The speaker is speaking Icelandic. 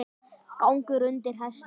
Gangur undir hesti.